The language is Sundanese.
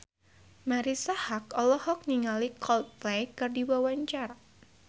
Marisa Haque olohok ningali Coldplay keur diwawancara